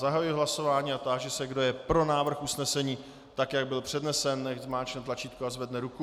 Zahajuji hlasování a táži se, kdo je pro návrh usnesení tak, jak byl přednesen, nechť zmáčkne tlačítko a zvedne ruku.